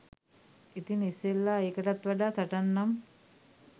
ඉතින් ඉස්සෙල්ලා එකටත් වඩා සටන් නම්